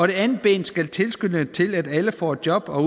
det andet ben skal tilskynde til at alle får et job og